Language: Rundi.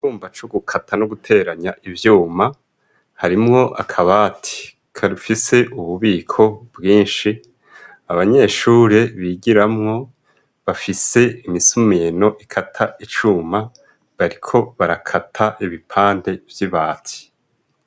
Icumba c'ugukata no guteranya ivyuma. Harimwo akabati gafise ububiko bwinshi, abanyeshuri bigiramwo, bafise imisumeno ikata icuma ,bariko barakata ibipande vy'ibati.